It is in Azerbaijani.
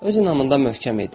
Öz inamında möhkəm idi.